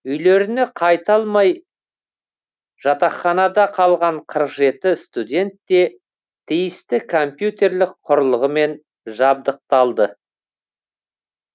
үйлеріне қайта алмай жатақханада қалған қырық жеті студент те тиісті компьютерлік құрылғымен жабдықталды